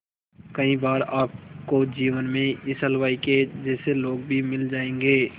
कई बार आपको जीवन में इस हलवाई के जैसे लोग भी मिल जाएंगे